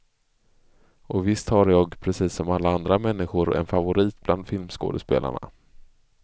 Och visst har jag, precis som alla andra människor, en favorit bland filmskådespelarna.